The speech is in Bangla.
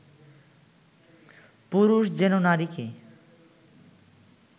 পুরুষ যেন নারীকে